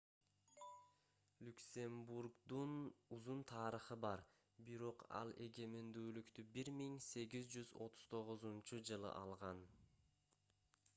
люксембургдун узун тарыхы бар бирок ал эгемендүүлүктү 1839-жылы алган